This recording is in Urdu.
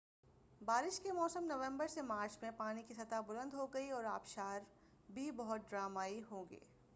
بارش کے موسم نومبر سے مارچ میں پانی کی سطح بلند ہوگی اور آبشار بھی بہت ڈرامائی ہوں گے۔